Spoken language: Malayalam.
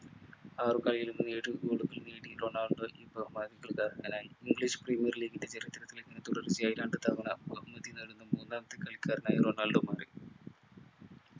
ആറ് കളിയിൽ നിന്ന് ഏഴു goal കൾ നേടി റൊണാൾഡോ ഈ ബഹുമതിക്കു അർഹനായി english premere league ന്റെ ചരിത്രത്തിൽ ഇങ്ങനെ തുടർച്ചയായി രണ്ടു തവണ ബഹുമതി നേടുന്ന മൂന്നാമത്തെ കളിക്കാരനായി റൊണാൾഡോ മാറി